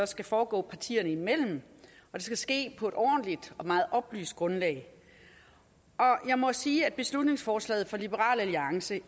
skal foregå partierne imellem og det skal ske på et ordentligt og meget oplyst grundlag jeg må sige at beslutningsforslaget fra liberal alliance